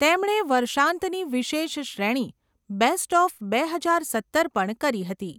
તેમણે વર્ષાંતની વિશેષ શ્રેણી, બેસ્ટ ઓફ બે હજાર સત્તર પણ કરી હતી.